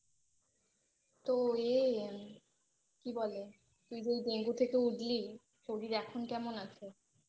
তো ইয়ে কি বলে তুই যে এই ডেঙ্গু থেকে উঠলি শরীর এখন কেমন আছে